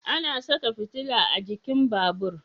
Ana saka fitila a jikin babur